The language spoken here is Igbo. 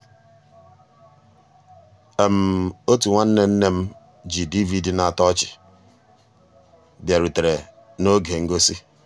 ótú nnwànné nné m jì dvd ná-àtọ́ ọ́chị́ bìàrùtérè n'ògé ngósì.